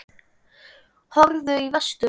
Horfðu í vestur og.